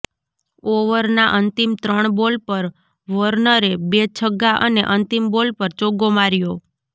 ઓવરના અંતિમ ત્રણ બોલ પર વોર્નરે બે છગ્ગા અને અંતિમ બોલ પર ચોગ્ગો માર્યો